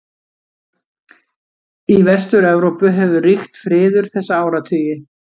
Í Vestur-Evrópu hefur ríkt friður þessa áratugi.